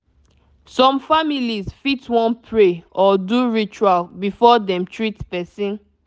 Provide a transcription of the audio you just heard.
some families fit wan pray or do ritual before dem treat person